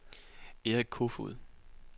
Erik Koefoed